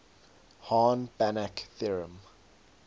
hahn banach theorem